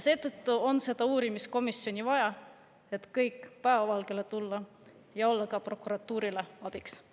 Seetõttu on seda uurimiskomisjoni vaja, et kõik päevavalgele tuua ja olla ka prokuratuurile abiks.